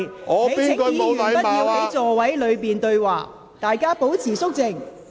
請議員不要在座位上對話，大家保持肅靜。